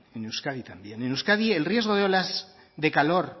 en euskadi también en euskadi el riesgo de olas de calor